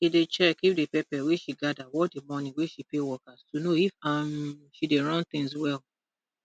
she dey check if the pepper wey she gather worth di money wey she pay workers to know if um she dey run things well